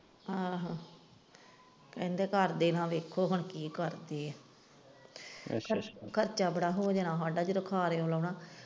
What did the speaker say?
ਆਹੋ ਕਹਿੰਦੇ ਘਰਦੇ ਨਾ ਵੇਖੋ ਹੁਣ ਕੀ ਕਰਦੇ ਹੈ ਖਰ ਖਰਚਾ ਬੜਾ ਹੋ ਜਾਣਾ ਹਾਡਾ ਜਦੋਂ.